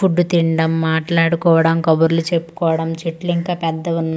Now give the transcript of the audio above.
Food తినడం మాట్లాడుకోవడం కబుర్లు చెప్పుకోవడం చెట్లు ఇంకా పెద్దవి ఉన్నాయి.